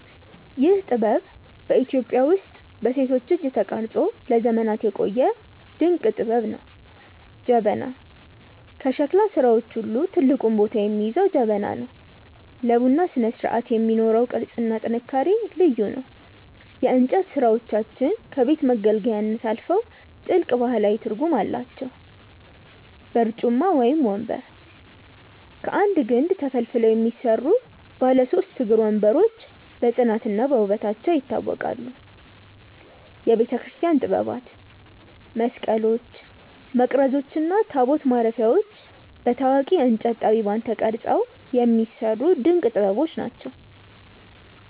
ይህ ጥበብ በኢትዮጵያ ውስጥ በሴቶች እጅ ተቀርጾ ለዘመናት የቆየ ድንቅ ጥበብ ነው። ጀበና፦ ከሸክላ ሥራዎች ሁሉ ትልቁን ቦታ የሚይዘው ጀበና ነው። ለቡና ስነስርዓት የሚኖረው ቅርጽና ጥንካሬ ልዩ ነው። የእንጨት ሥራዎቻችን ከቤት መገልገያነት አልፈው ጥልቅ ባህላዊ ትርጉም አላቸው። በርጩማ (ወንበር)፦ ከአንድ ግንድ ተፈልፍለው የሚሰሩ ባለ ሦስት እግር ወንበሮች በጽናትና በውበታቸው ይታወቃሉ። የቤተክርስቲያን ጥበባት፦ መስቀሎች፣ መቅረዞች እና ታቦት ማረፊያዎች በታዋቂ የእንጨት ጠቢባን ተቀርጸው የሚሰሩ ድንቅ ጥበቦች ናቸው።